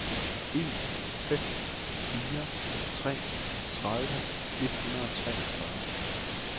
en fem fire tre tredive et hundrede og treogfyrre